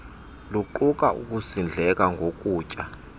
luquka ukusindleka ngokutya